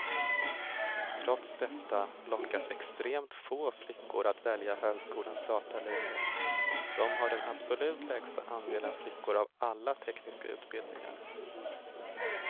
Trots detta lockas extremt få flickor att välja högskolans datalinjer, de har den absolut lägsta andelen flickor av alla tekniska utbildningar.